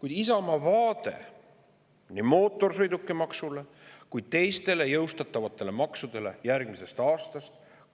Kuid Isamaa vaade nii mootorsõidukimaksule kui ka teistele järgmisest aastast jõustatavatele maksudele